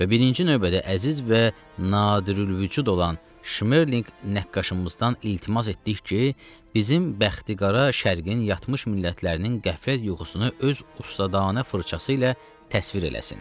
Və birinci növbədə əziz və nadirülvücud olan Şmerlinq nəqqaşımızdan iltimas etdik ki, bizim bəxtiqara şərqin yatmış millətlərinin qəflət yuxusunu öz ustadanə fırçası ilə təsvir eləsin.